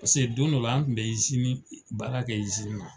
Pase don dɔ la an kun bɛ baara kɛ na.